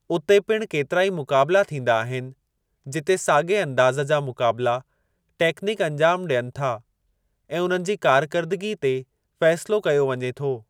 उते पिणु केतिराई मुक़ाबिला थींदा आहिनि, जिते साॻिए अंदाज़ जा मुक़ाबिला टेक्निक अंजामु ॾियनि था ऐं उन्हनि जी कार्करदगी ते फ़ेसिलो कयो वञे थो।